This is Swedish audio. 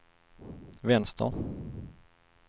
vänster